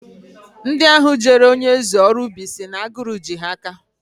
Ndị ahụ jeere onyeeze ọrụ ubi si na agụrụ ji ha aka